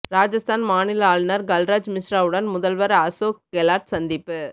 ராஜஸ்தான் மாநில ஆளுநர் கல்ராஜ் மிஸ்ராவுடன் முதல்வர் அசோக் கெலாட் சந்திப்பு